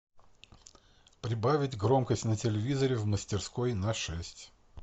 прибавить громкость на телевизоре в мастерской на шесть